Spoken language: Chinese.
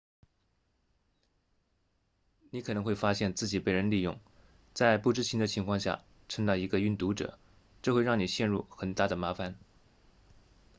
你可能会发现自己被人利用在不知情的情况下成了一个运毒者这会让你陷入很大的麻烦